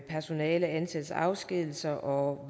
personalets ansættelse og afskedigelse og